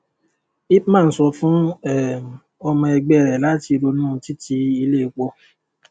ipman sọ fún um ọmọ ẹgbẹ́ rẹ̀ lati ronú títi ilé epo.